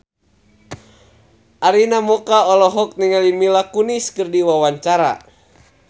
Arina Mocca olohok ningali Mila Kunis keur diwawancara